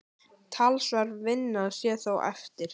Talsverð vinna sé þó eftir.